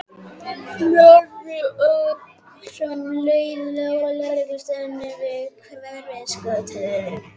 Snorri ók sem leið lá að lögreglustöðinni við Hverfisgötu.